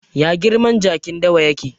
Ya girman jakin dawa yake?